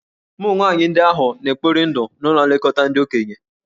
Ụmụ nwaanyị ndị ahụ hà na-ekpori ndụ n'ụlọ nlekọta ndị okenye?